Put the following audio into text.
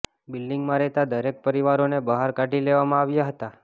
બિલ્ડિંગમાં રહેતા દરેક પરિવારોને બહાર કાઢી લેવામાં આવ્યા હતા